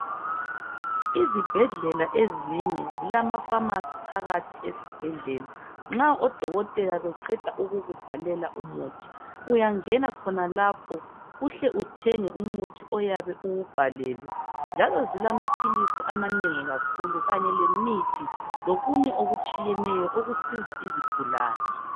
Izibhedlela ezinye zilama pharmacy phakathi esibhedlela nxa odokotela beqeda ukukubhalela umuthi uyangena khonalapho uhle uthenge umuthi oyabe uwubhalelwe njalo zilamaphilisi amanengi kakhulu kanye lemithi, lokunye okutshiyeneyo okusiza izigulane.